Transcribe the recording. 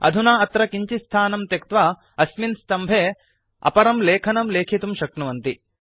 अधुना अत्र किञ्चित् स्थानं त्यक्त्वा अस्मिन् स्तम्भे अपरं लेखनं लेखितुं शक्नुवन्ति